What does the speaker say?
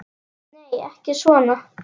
Nei, ekki svona.